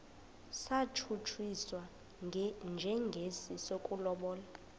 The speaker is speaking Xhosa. satshutshiswa njengesi sokulobola